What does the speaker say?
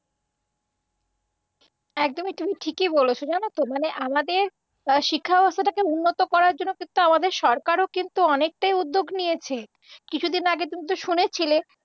একদমই তুমি ঠিকই বলেছ, জানতো। মানে আমাদের শিক্ষা ব্যবস্থাটাকে উন্নত করবার জন্য কিন্তু আমাদের সরকারও কিন্তু অনেকটাই উদ্যোগ নিয়েছে। কিছুদিন আগে তুমি তো শুনেছিলে